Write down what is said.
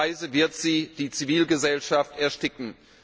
Auf diese Weise wird sie die Zivilgesellschaft ersticken.